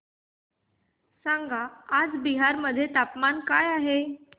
सांगा आज बिहार मध्ये तापमान काय आहे